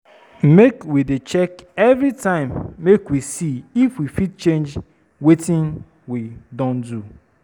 Make we dey check every time make we for see if we fit change wetin we don do.